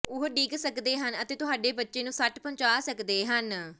ਉਹ ਡਿੱਗ ਸਕਦੇ ਹਨ ਅਤੇ ਤੁਹਾਡੇ ਬੱਚੇ ਨੂੰ ਸੱਟ ਪਹੁੰਚਾ ਸਕਦੇ ਹਨ